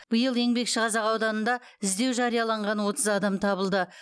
биыл еңбекшіқазақ ауданында іздеу жарияланған отыз адам табылды